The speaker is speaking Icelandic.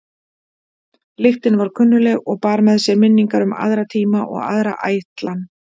Lyktin var kunnugleg og bar með sér minningar um aðra tíma og aðra ætlan.